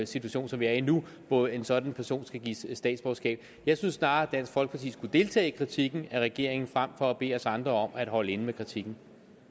situation som vi er i nu hvor en sådan person skal gives statsborgerskab jeg synes snarere at dansk folkeparti skulle deltage i kritikken af regeringen frem for at bede os andre om at holde inde med kritikken